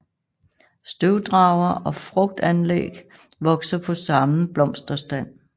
Støvdrager og frugtanlæg vokser på samme blomsterstand